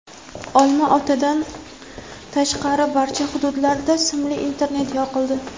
Olma-otadan tashqari barcha hududlarda simli internet yoqildi.